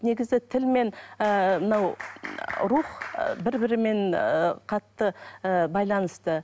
негізі тіл мен ыыы мынау рух ы бір бірімен ы қатты ы байланысты